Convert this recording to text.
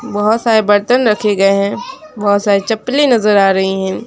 बहोत सारे बर्तन रखे गए हैं बहोत सारी चप्पले नजर आ रही है।